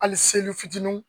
Hali seli fitinin